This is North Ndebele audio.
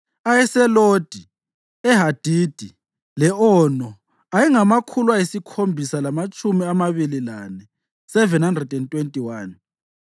ayeseLodi, eHadidi le-Ono ayengamakhulu ayisikhombisa lamatshumi amabili lane (721),